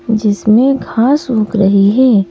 जिसमें घास सूख रही है ।